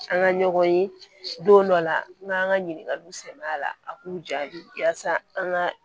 An ka ɲɔgɔn ye don dɔ la an bɛ an ka ɲininkaliw sɛmɛn a la a k'u jaabi yaasa an ka